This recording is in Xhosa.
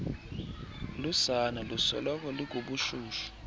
lusana lusoloko lukubushushu